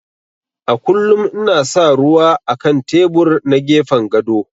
A kullum ina sa ruwa á kan tebur na gefen gado.